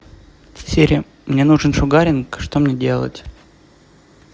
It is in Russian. сири мне нужен шугаринг что мне делать